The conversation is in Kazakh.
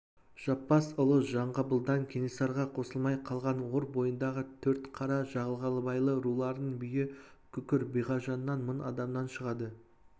жаппас ұлы жанғабылдан кенесарыға қосылмай қалған ор бойындағы төртқара жағалбайлы руларының биі күкір биғажаннан мың адамнан шығады